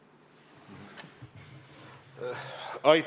Aitäh!